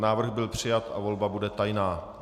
Návrh byl přijat a volba bude tajná.